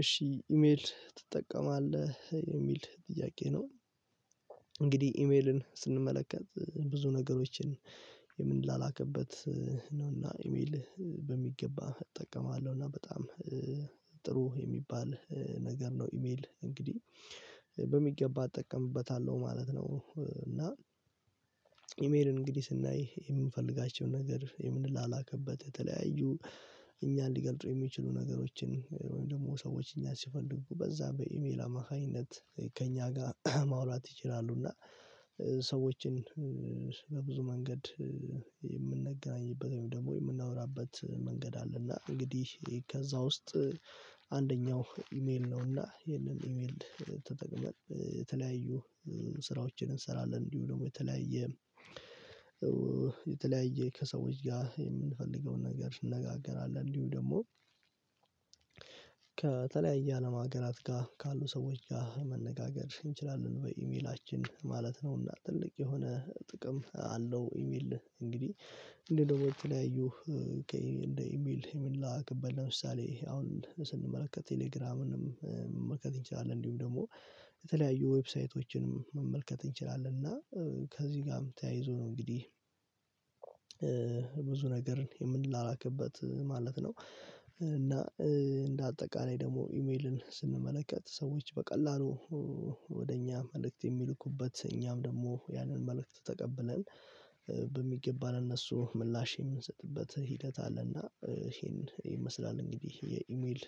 "እሺ ኢሜል ትጠቀማለህ?" የሚል ጥያቄ ነው። እንግዲህ ኢሜልን ስንመለከት ብዙ ነገሮችን የምንላላክበት ነው እና ኢሜል በሚገባ እጠቀማለሁ፤ እና በጣም ጥሩ የሚባል ነገር ነው ኢሜል እንግዲህ በሚገባ እጠቀምበታለሁ ማለት ነው፤ እና ኢሜልን እንግዲህ ስናይ የምንፈልጋቸውን ነገር የምንላላክበት የተለያዩ እኛን ሊገልጹ የሚችሉ ነገሮችን ወይም ደግሞ ሰዎች እኛን ሲፈልጉ በዛ በኢሜል አማካኝነት ከእኛ ጋር ማውላት ይችላሉ፤ እና ሰዎችን በብዙ መንገድ የምንገናኝበት ወይም ደግሞ የምናወራበት መንገድ አለና እንግዲህ ከዛ ውስጥ አንደኛው ኢሜል ነውና ይሄንን ኢሜል ተጠቅመን የተለያዩ ስራዎችን እንሰራለን እንዲሁም ደግሞ የተለያየ የተለያየ ከሰዎች ጋር የምንፈልገውን ነገር እንነጋገራለን፤ እንዲሁ ደግሞ ከተለያየ አለም ሀገራት ጋር ካሉ ሰዎች ጋር መነጋገር እንችላለን በኢሜላችን ማለት ነውና ትልቅ የሆነ ጥቅም አለው ኢሜል እንግዲህ እንደ ደግሞ የተለያዩ እንደ ኢሜል የምንላላክበት ለምሳሌ አሁን ስንመለከት ቴሌግራምንም መመልከት እንችላለን። እንዲሁም ደግሞ የተለያዩ ዌብሳይቶችንም መመልከት እንችላለን እና ከዚህ ጋርም ተያይዞ ነው እንግዲህ ብዙ ነገርን የምንላላክበት ማለት ነው። እና እንደ አጠቃላይ ደግሞ ኢሜልን ስንመለከት ሰዎች በቀላሉ ወደ እኛ መልእክት የሚልኩበት እኛም ደግሞ ያንን መልእክት ተቀብለን በሚገባ ለእነሱ ምላሽ የምንሰጥበት ሂደት አለና ይሄን ይመስላል እንግዲህ የኢሜል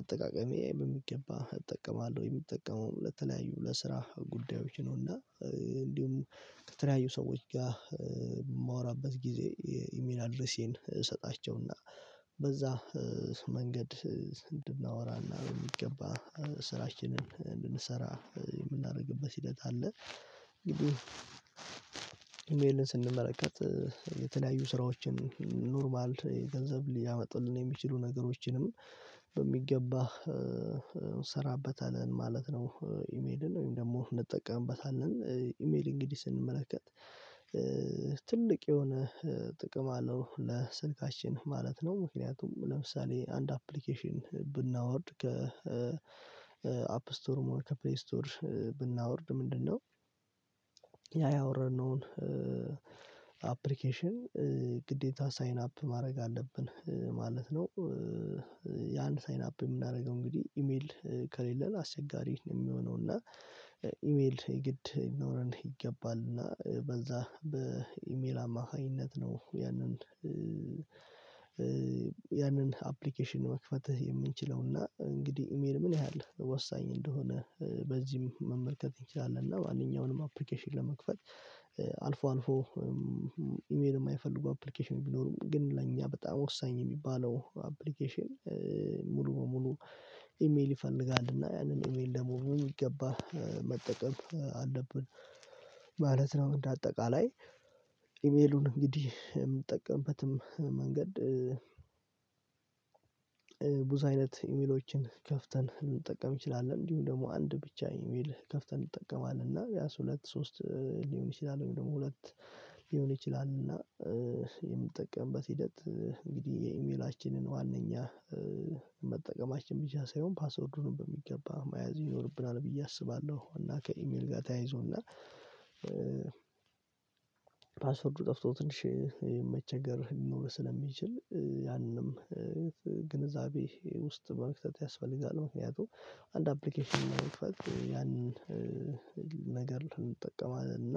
አጠቃቀሜ በሚገባ እጠቀማለሁ የምጠቀመውም ለተለያዩ ለስራ ጉዳዮች ነው እና እንዲሁም ከተለያዩ ሰዎች ጋር የማወራበት ጊዜ የኢሜል አድሬሴን እሰጣቸውና በዛ መንገድ እንድናወራና በሚገባ ስራችንን እንድንሰራ የምናደርግበት ሂደት አለ። እንግዲህ ኢሜልን ስንመለከት የተለያዩ ስራዎችን ኖርማል የገንዘብ ሊያመጡልን የሚችሉ ነገሮችንም በሚገባ እንሰራበታለን ማለት ነው ኢሜልን ወይም ደግሞ እንጠቀምበታለን። ኢሜል እንግዲህ ስንመለከት ትልቅ የሆነ ጥቅም አለው ለስልካችን ማለት ነው። ምክንያቱም ለምሳሌ አንድ አፕሊኬሽን ብናወርድ ከ አፕ ስቶርሞ ሆነ ከፕሌይ ስቶር ብናወርድ ምንድነው ያ ያወረድነውን አፕሊኬሽን ግዴታ ሳይን አፕ ማድረግ አለብን ማለት ነው። የአንድ ሳይን አፕ የምናደርገው እንግዲህ ኢሜል ከሌለን አስቸጋሪ ነው የሚሆነው እና ኢሜል ግድ ሊኖረን ይገባል እና በዛ በኢሜል አማካኝነት ነው ያንን ያንን አፕሊኬሽን መክፈት የምንችለው እና እንግዲህ ኢሜል ምን ያህል ወሳኝ እንደሆነ በዚህም መመልከት እንችላለን እና ማንኛውንም አፕሊኬሽን ለመክፈት አልፎ አልፎ ኢሜል የማይፈልጉ አፕሊኬሽን ቢኖሩም ግን ለኛ በጣም ወሳኝ የሚባለው አፕሊኬሽን ሙሉ ሙሉ ኢሜል ይፈልጋልና ያንን ኢሜል ደግሞ በሚገባ መጠቀም አለብን ማለት ነው እንደ አጠቃላይ። ኢሜሉን እንግዲህ የምንጠቀምበትም መንገድ ብዙ አይነት ኢሜሎችን ከፍተን ልንጠቀም እንችላለን። እንዲሁም ደግሞ አንድ ብቻ ኢሜል ከፍተን እንጠቀማለን እና ቢያንስ ሁለት ሶስት ሊሆን ይችላል ወይም ደግሞ ሁለት ሊሆን ይችላል፤ እና የምንጠቀምበት ሂደት እንግዲህ የኢሜላችንን ዋናኛ መጠቀማችን ብቻ ሳይሆን ፓስወርዱንም በሚገባ መያዝ ይኖርብናል ብዬ አስባለሁ፤ እና ከኢሜል ጋር ተያይዞ እና ፓስወርዱ ጠፍቶ ትንሽ መቸገር ሊኖር ስለሚችል ያንም ግንዛቤ ውስጥ መክተት ያስፈልጋል። ምክንያቱም አንድ አፕሊኬሽን ለመክፈት ያንን ነገር እንጠቀማለን እና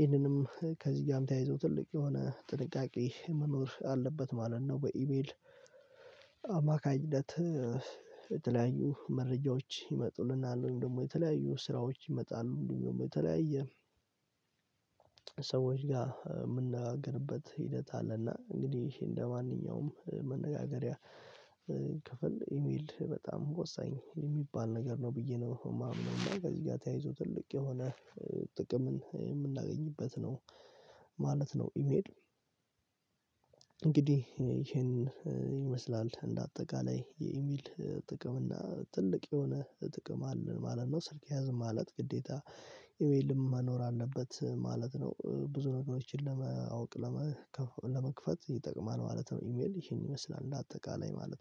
ይሄንንም ከዚህ ጋርም ተያይዞ ትልቅ የሆነ ጥንቃቄ መኖር አለበት ማለት ነው በኢሜል አማካኝነት የተለያዩ መረጃዎች ይመጡልናል ወይም ደግሞ የተለያዩ ስራዎች ይመጣሉ እንዲሁም ደግሞ የተለያየ ሰዎች ጋር የምንነጋገርበት ሂደት አለና እንግዲህ እንደማንኛውም መነጋገሪያ ክፍል ኢሜል በጣም ወሳኝ የሚባል ነገር ነው ብዬ ነው የማምነው እና ከዚህ ጋር ተያይዞ ትልቅ የሆነ ጥቅምን የምናገኝበት ነው ማለት ነው ኢሜል። እንግዲህ ይሄን ይመስላል እንደ አጠቃላይ የኢሜል ጥቅም እና ትልቅ የሆነ ጥቅም አለን ማለት ነው ስልክ ያዝን ማለት ግዴታ ኢሜልም መኖር አለበት ማለት ነው። ብዙ ነገሮችን ለማወቅ ለመክ ለመክፈት ይጠቅማል ማለት ነው ኢሜል ይሄን ይመስላል እንደ አጠቃላይ ማለት ነው።